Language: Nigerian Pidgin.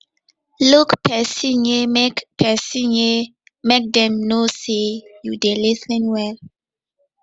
look pesin ye make pesin ye make dem know sey you dey lis ten well